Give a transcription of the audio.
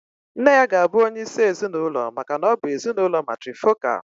Nne ya ga-abụ onye isi ezinụlọ maka na ọ bụ ezinụlọ matrifocal.